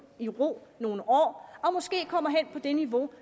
i ro nogle år og måske kommer hen på det niveau